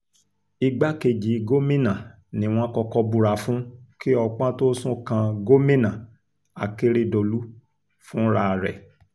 igbákejì gómìnà ni wọ́n kọ́kọ́ búra fún kí ọpọ́n tóó sún kan gómìnà akérèdọ́lù fúnra rẹ̀